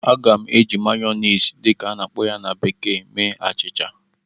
Aga m eji "mayonnaise" dị ka a na-akpọ ya na bekee mee achịcha